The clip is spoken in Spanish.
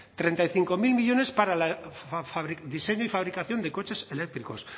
treinta y cinco mil millónes para el diseño y fabricación de coches eléctricos